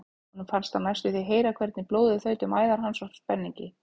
Honum fannst hann næstum því heyra hvernig blóðið þaut um æðar hans af spenningi.